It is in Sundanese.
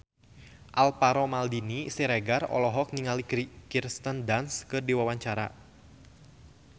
Alvaro Maldini Siregar olohok ningali Kirsten Dunst keur diwawancara